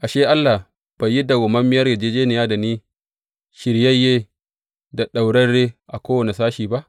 Ashe, Allah bai yi madawwamiyar yarjejjeniya da ni shiryayye da ɗaurarre a kowane sashi ba?